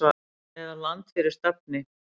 eða Land fyrir stafni!